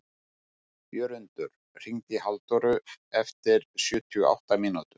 Jörundur, hringdu í Halldóru eftir sjötíu og átta mínútur.